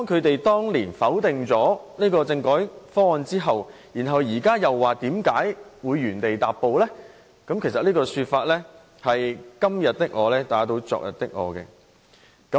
當年是他們否決政改方案的，現在卻問為甚麼原地踏步，這不是"今天的我打倒昨天的我"嗎？